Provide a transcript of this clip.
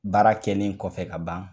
Baara kɛlen kɔfɛ ka ban